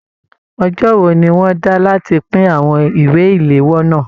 Ọjọ wò ní wọn dá láti pin àwọn ìwé iléwọ́ náà?